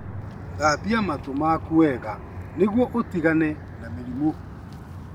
Thambia matũ maku wega nĩguo ũtigane na mĩrimũ.